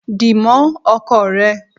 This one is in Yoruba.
Di mó ọkọ rẹ!